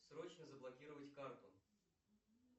срочно заблокировать карту